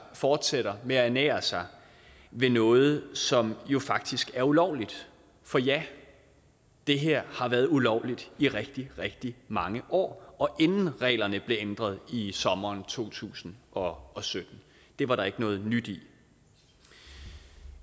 fortsætter med at ernære sig ved noget som jo faktisk er ulovligt for ja det her har været ulovligt i rigtig rigtig mange år inden reglerne blev ændret i sommeren to tusind og og sytten det var der ikke noget nyt i